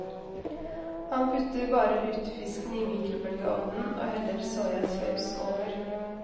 Han putter bare lutefisken i mikrobølgeovnen og heller soyasaus over.